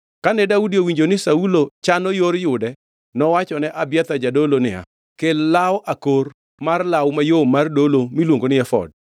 Kane Daudi owinjo ni Saulo chano yor yude nowachone Abiathar jadolo niya, “Kel law akor mar law mayom mar dolo miluongo ni efod.”